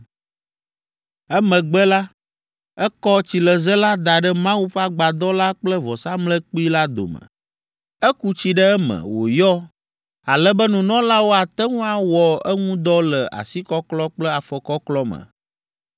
Emegbe la, ekɔ tsileze la da ɖe Mawu ƒe agbadɔ la kple vɔsamlekpui la dome. Eku tsi ɖe eme wòyɔ ale be nunɔlawo ate ŋu awɔ eŋu dɔ le asikɔklɔ kple afɔkɔklɔ me.